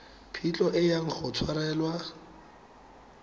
phitlho e yang go tshwarelwa